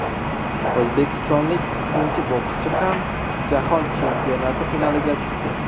O‘zbekistonlik ikkinchi bokschi ham Jahon chempionati finaliga chiqdi.